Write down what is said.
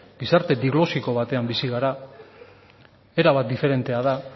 gizarte diglosico batean bizi gara era bat diferentea da